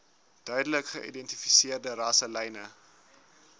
duidelik geïdentifiseerde rasselyne